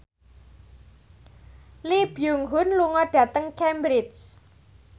Lee Byung Hun lunga dhateng Cambridge